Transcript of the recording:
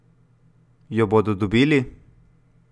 Jo bodo dobili?